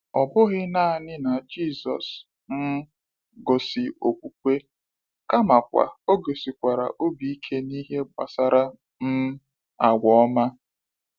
Ọ bụghị naanị na Jisọshụ um gosi okwukwe, kamakwa o gosikwara obi ike n’ihe gbasara um agwa ọma.